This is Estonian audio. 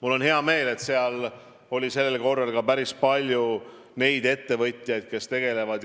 Mul on hea meel, et seal oli tänavu ka päris palju neid ettevõtjaid, kes tegelevad